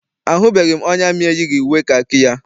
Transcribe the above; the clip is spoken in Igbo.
Ahụbeghị m onye amị eyighị uwe kakị ya.